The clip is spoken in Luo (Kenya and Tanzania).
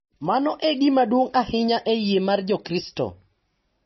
Mano e gima duong’ ahinya e yie mar Jokristo.